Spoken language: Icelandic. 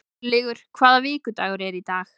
Örlygur, hvaða vikudagur er í dag?